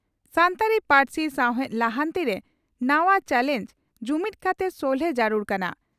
ᱥᱟᱱᱛᱟᱲᱤ ᱯᱟᱹᱨᱥᱤ ᱥᱟᱣᱦᱮᱫ ᱞᱟᱦᱟᱱᱛᱤ ᱨᱮ ᱱᱟᱣᱟ ᱪᱟᱞᱮᱸᱡᱽ ᱺ ᱡᱩᱢᱤᱫᱽ ᱠᱟᱛᱮ ᱥᱚᱞᱦᱮ ᱡᱟᱹᱨᱩᱲ ᱠᱟᱱᱟ